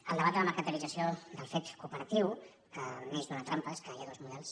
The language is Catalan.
el debat de la mercantilització del fet cooperatiu neix d’una trampa és que hi ha dos models